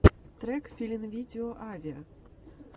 трек филинвидео авиа